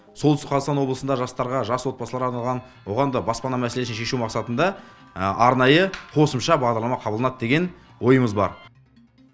солтүстік қазақстан облысында жастарға жас отбасыларға арналған оған да баспана мәселесін шешу мақсатында арнайы қосымша бағдарлама қабылданады деген ойымыз бар